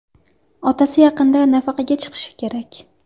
Otasi yaqinda nafaqaga chiqishi kerak.